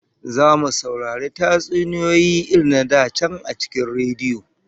Zamu saurari tatsuniyoyi irin na da can a cikin rediyo